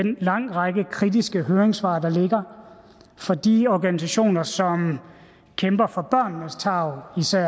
en lang række kritiske høringssvar fra de organisationer som kæmper for børnenes tarv især